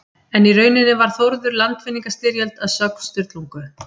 En í rauninni var Þórður í landvinningastyrjöld að sögn Sturlungu.